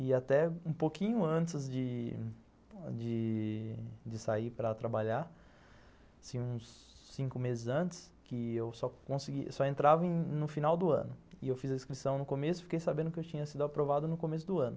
E até um pouquinho antes de de de sair para trabalhar, assim, uns cinco meses antes, que eu só entrava no final do ano, e eu fiz a inscrição no começo e fiquei sabendo que eu tinha sido aprovado no começo do ano.